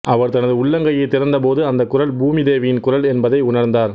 அவர் தனது உள்ளங்கையைத் திறந்த போது அந்தக் குரல் பூமிதேவியின் குரல் என்பதை உணர்ந்தார்